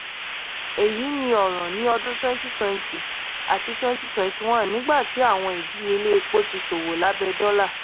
èyí ni ọ̀ràn ní ọdún twenty twenty àti twenty twenty one nígbà tí àwọn ìdíyelé epo ti ṣòwò lábẹ́ dollar